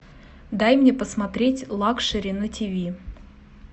дай мне посмотреть лакшери на тв